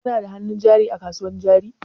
Kana da hannun jari a kasuwan jari?